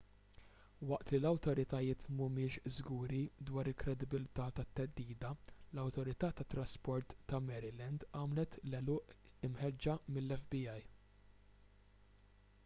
waqt li l-awtoritajiet m'humiex żguri dwar il-kredibilità tat-theddida l-awtorità tat-trasport ta' maryland għamlet l-għeluq imħeġġa mill-fbi